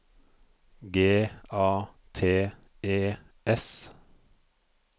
G A T E S